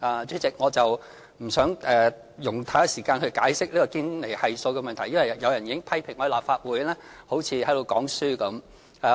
主席，我不想用太多時間解釋堅尼系數的問題，因為有人已經批評我在立法會好像在講課般。